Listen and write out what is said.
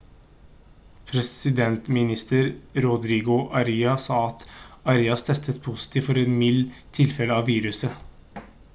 presidentminister rodrigo aria sa at arias testet positivt for et mildt tilfelle av viruset